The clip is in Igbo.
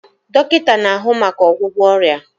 Dọkịta na-ahụ maka ọgwụgwọ ọrịa